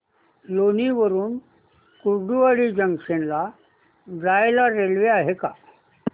लोणी वरून कुर्डुवाडी जंक्शन ला जायला रेल्वे आहे का